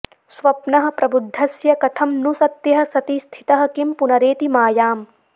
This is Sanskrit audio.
स्वप्नः प्रबुद्धस्य कथं नु सत्यः सति स्थितः किं पुनरेति मायाम्